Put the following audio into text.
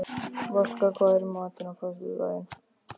Valka, hvað er í matinn á föstudaginn?